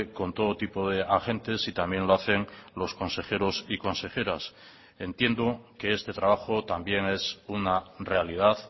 con todo tipo de agentes y también lo hacen los consejeros y consejeras entiendo que este trabajo también es una realidad